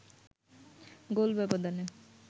গোল ব্যবধানে